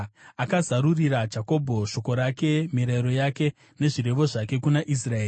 Akazarurira Jakobho shoko rake, mirayiro yake nezvirevo zvake kuna Israeri.